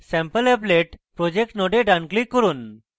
sampleapplet project node ডান click করুন